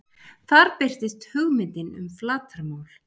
Þar birtist hugmyndin um flatarmál.